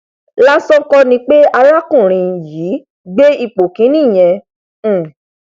lásán kọ ni pé alákùnrin yìí gbé ipò kíní ìyẹn um